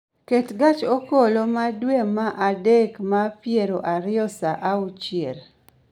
Ket gach okoloma dwe ma adek ma piero ariyo saa auchiel